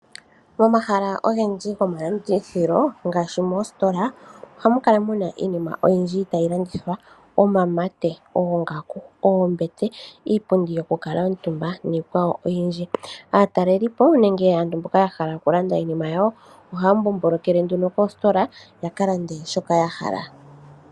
Momahala ogendji gomalandithilo ngaashi k Moositola ohamu kala muna iinima oyindji tayi landithwa ngaashi: omamate, oongaku, oombete, iipundi yokukala omutumba niikwawo oyindji. Aataleliipo nenge aantu mboka ya hala okulanda iinima yawo ohaya mbombolokele nduno koositola yaka lande shoka ya hala.